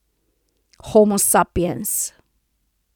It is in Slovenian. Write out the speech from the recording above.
Homo sapiens.